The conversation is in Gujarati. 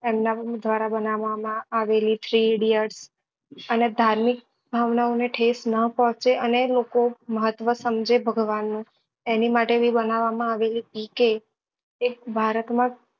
એમના દ્વારા બનાવવા માં આવેલી three idiots અને ધાર્મિક ભાવના ઓ ને ઠેસ ના પહોચે અને લોકો મહત્વ સમજે ભગવાન નું એની માટે બી બનવવા માં આવેલી PK એ ભારત માં